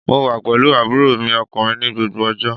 Mo wà pẹ̀lú àbúrò mi ọkùnrin ní gbogbo ọjọ́